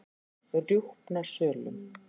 Rjúpnasölum